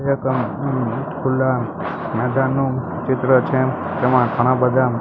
ખુલા મેદાન નું ચિત્ર છે તેમાં ઘણા બધા--